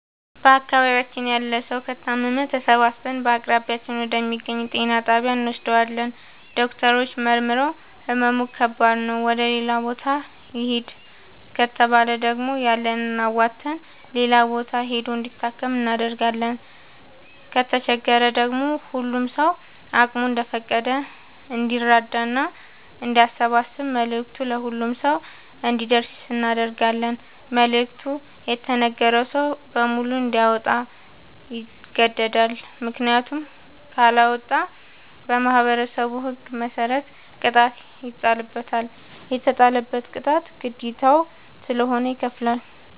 በአካባቢያችን ያለ ሠዉ ከታመመ ተሠባስበን በአቅራቢያችን ወደ ሚገኝ ጤና ጣቢያ እንወስደዋለን። ዶክተሮች መርምረዉ ህመሙ ከባድ ነዉ ወደ ሌላ ቦታ ይህድ ከተባለ ደግሞ ያለንን አዋተን ሌላ ቦታ ሂዶ እንዲታከም እናደርጋለን። ከተቸገረ ደግሞ ሁሉም ሰዉ አቅሙ እንደፈቀደ እንዲራዳና አንዲያሰባስብ መልዕክቱ ለሁሉም ሰው አንዲደርሰው እናደርጋለን። መልዕክቱ የተነገረዉ ሰዉ በሙሉ እንዲያወጣ ይገደዳል። ምክንያቱም ካለወጣ በማህበረሠቡ ህግ መሰረት ቅጣት ይጣልበታል። የተጣለበትን ቅጣት ግዴታዉ ስለሆነ ይከፍላል።